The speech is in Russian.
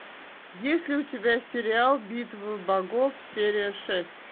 есть ли у тебя сериал битвы богов серия шесть